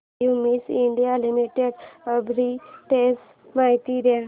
Cummins India limited arbitrage माहिती दे